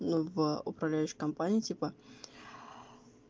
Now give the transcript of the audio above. ну в аа управляющей компании типа